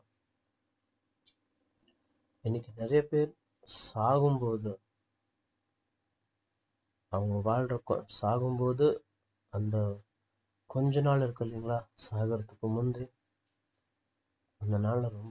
இன்னிக்கு நிறைய பேர் ஸ்~சாவும்போது அவங்க வாழ்றப்போ சாகும்போது அந்த கொஞ்ச நாள் இருக்கு இல்லிங்களா சாகுறதுக்கு முந்தி அந்த நாளை ரொம்~